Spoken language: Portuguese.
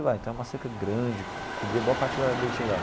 Então é uma cerca grande, cobria boa parte da da yeshivá.